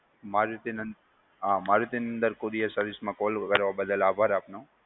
મારુતિ નંદ અમ Marutinandan courier service માં call કરવા બદલ આભાર આપનો.